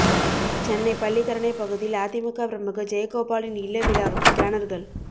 சென்னை பள்ளிக்கரணை பகுதியில் அதிமுக பிரமுகா் ஜெயகோபாலின் இல்ல விழாவுக்கு பேனா்கள்